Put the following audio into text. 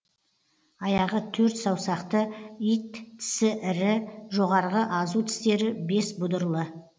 аяғы төрт саусақты ит тісі ірі жоғарғы азу тістері бес бұдырлы